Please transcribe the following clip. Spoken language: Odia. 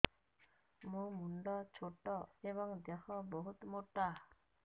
ମୋ ମୁଣ୍ଡ ଛୋଟ ଏଵଂ ଦେହ ବହୁତ ମୋଟା